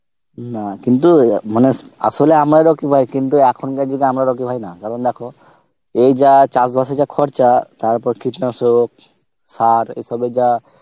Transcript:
না কিন্তু মানে আসলে আমরাই রকি ভাই কিন্তু এখনকার যুগে আমরা রকি ভাই না, কারণ দেখো, এই যা চাস বাস এ যা খরচা তার ওপর কীটনাশক, সার এ সবের যা